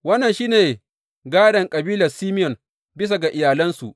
Wannan shi ne gādon kabilar Simeyon bisa ga iyalansu.